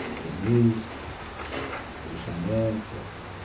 com verniz, lixamento.